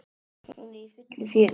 Hún er í fullu fjöri.